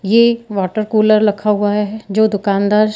ये एक water cooler रखा हुआ है जो दुकानदार--